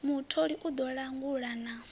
mutholi u ḓo langula na